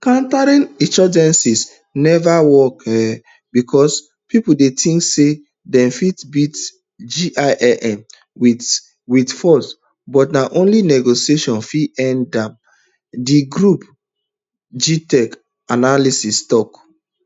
counterinsurgency neva work um becos pipo dey tink say dem fit beat jnim wit wit force but na only negotiation fit end um di group gitoc analyst tok